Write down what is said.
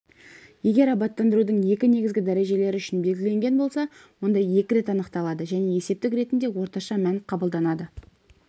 егер абаттандырудың екі негізгі дәрежелері үшін белгіленген болса онда екі рет анықталады және есептік ретінде орташа мән қабылданады